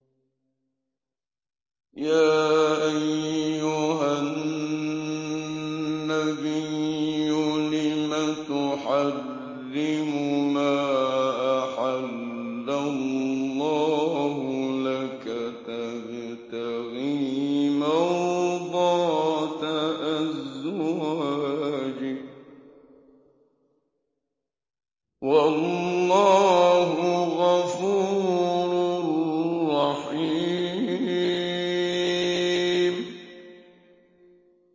يَا أَيُّهَا النَّبِيُّ لِمَ تُحَرِّمُ مَا أَحَلَّ اللَّهُ لَكَ ۖ تَبْتَغِي مَرْضَاتَ أَزْوَاجِكَ ۚ وَاللَّهُ غَفُورٌ رَّحِيمٌ